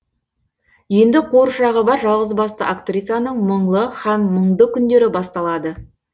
енді қуыршағы бар жалғызбасты актрисаның мұңлы һәм мұңды күндері басталады